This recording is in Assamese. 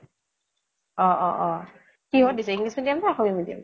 অ অ অ । কিহত দিছে, english medium নে অসমীয়া medium ?